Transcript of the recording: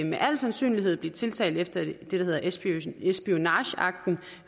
med al sandsynlighed blive tiltalt efter det der hedder espionage act